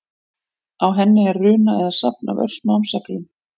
Á henni er runa eða safn af örsmáum seglum.